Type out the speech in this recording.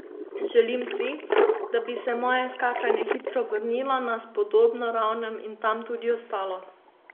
Želim si, da bi se moje skakanje hitro vrnilo na spodobno raven in tam tudi ostalo.